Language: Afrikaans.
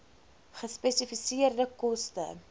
gespesifiseerde koste